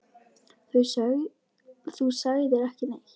Þú sagðir ekki neitt.